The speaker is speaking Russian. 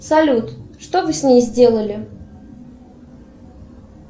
салют что вы с ней сделали